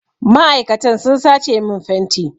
Ma'aikatan sun sace min fenti.